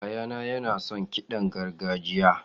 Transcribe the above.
Yayana yana son kiɗan gargajiya.